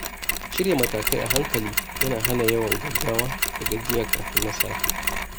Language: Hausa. Shirya matakai a hankali yana hana yawan gaggawa da gajiya kafin nasara.